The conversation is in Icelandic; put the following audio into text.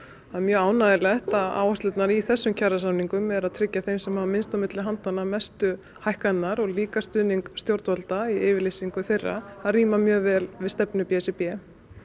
það er mjög ánægjulegt að áherslunar í þessum kjarasamningum eru að tryggja þeim sem hafa minnst milli handanna mestu hækkanirnar og líka stuðning stjórnvalda í yfirlýsingu þeirra það rímar mjög vel við stefnu b s r b